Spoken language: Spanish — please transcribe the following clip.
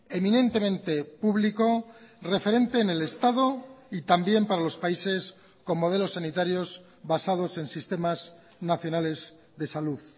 eminentemente público referente en el estado y también para los países con modelos sanitarios basados en sistemas nacionales de salud